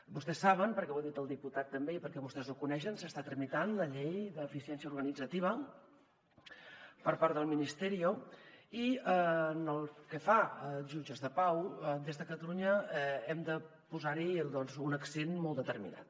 vostès saben perquè ho ha dit el diputat també i perquè vostès ho coneixen que s’està tramitant la llei d’eficiència organitzativa per part del ministerio i pel que fa als jutges de pau des de catalunya hem de posar hi un accent molt determinat